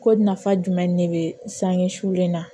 Ko nafa jumɛn ne bɛ sange sulen na